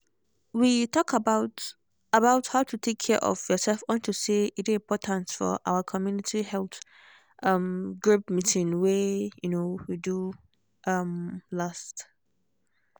we talk about about how to take care of yourself unto say e dey important for our community health um group meeeting wey um we do um last